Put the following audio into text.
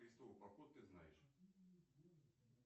крестовый поход ты знаешь